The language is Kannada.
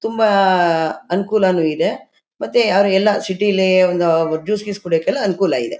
ತುಂಬಾ ಆ ಅನುಕೂಲಾನು ಇದೆ ಮತ್ತೆ ಯಾರು ಎಲ್ಲ ಸಿಟಿ ಲಿ ಒಂದ್ ಜ್ಯೂಸ್ ಗೀಸ್ ಕುಡಿಯಕ್ ಎಲ್ಲ ಅನುಕೂಲ ಇದೆ.